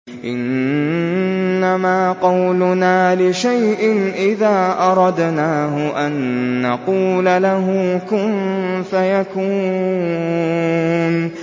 إِنَّمَا قَوْلُنَا لِشَيْءٍ إِذَا أَرَدْنَاهُ أَن نَّقُولَ لَهُ كُن فَيَكُونُ